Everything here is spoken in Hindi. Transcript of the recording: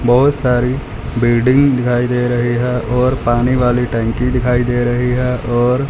बहुत सारी बिल्डिंग दिखाई दे रही है और पानी वाली टंकी दिखाई दे रही है और--